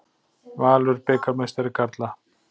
Valur bikarmeistari karla